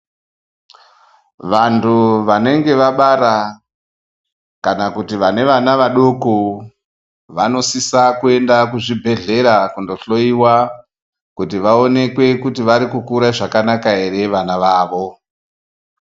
Vantu vanenge vabara kana kuti vane vana vadoko vanosisa kuenda kuzvibhedhlera kunohloyiwa kuti vaonekwe kuti vari kukura zvakanaka here vana vavo.